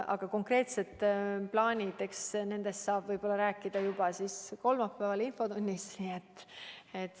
Aga konkreetsed plaanid – eks nendest saab võib-olla rääkida juba kolmapäeval infotunnis.